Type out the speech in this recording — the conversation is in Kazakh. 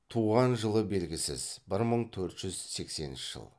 туған жылы белгісіз бір мың төрт жүз сексенінші жыл